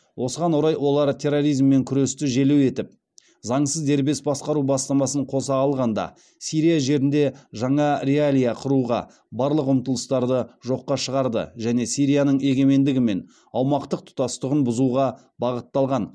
осыған орай олар терроризммен күресті желеу етіп заңсыз дербес басқару бастамасын қоса алғанда сирия жерінде жаңа реалия құруға барлық ұмтылыстарды жоққа шығарды және сирияның егемендігі мен аумақтық тұтастығын бұзуға бағытталған